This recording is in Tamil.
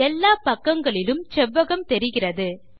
எல்லாப்பக்கங்களிலும் செவ்வகம் தெரிகிறது